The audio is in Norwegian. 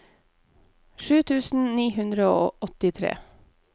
sju tusen ni hundre og åttitre